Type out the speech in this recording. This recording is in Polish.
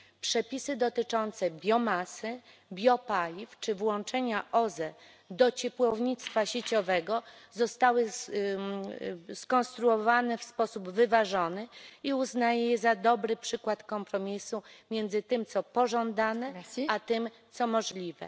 Przepisy dotyczące biomasy, biopaliw czy włączenia OZE do ciepłownictwa sieciowego zostały skonstruowane w sposób wyważony i uznaję je za dobry przykład kompromisu między tym, co pożądane, a tym, co możliwe.